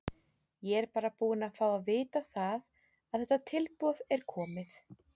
Ég er bara búinn að fá að vita að þetta tilboð er komið.